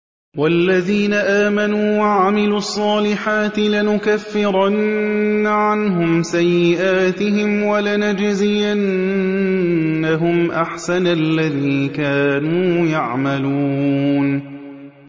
وَالَّذِينَ آمَنُوا وَعَمِلُوا الصَّالِحَاتِ لَنُكَفِّرَنَّ عَنْهُمْ سَيِّئَاتِهِمْ وَلَنَجْزِيَنَّهُمْ أَحْسَنَ الَّذِي كَانُوا يَعْمَلُونَ